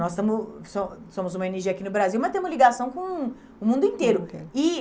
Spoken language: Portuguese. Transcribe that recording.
Nós somo so somos uma ó ene gê aqui no Brasil, mas temos ligação com o mundo inteiro. E